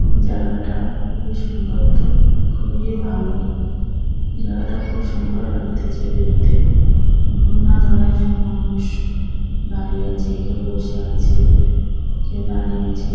জায়গাটা খুবই সুন্দর তো খুবই ভালো জায়গাটা খুব সুন্দর লাগতেছে দেখতে নানা ধরনের মানুষ দাঁড়িয়ে আছে কেউ বসে আছে কেউ দাঁড়িয়ে আছে।